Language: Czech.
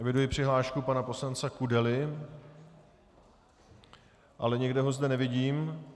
Eviduji přihlášku pana poslance Kudely, ale nikde ho zde nevidím.